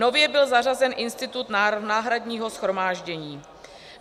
Nově byl zařazen institut náhradního shromáždění.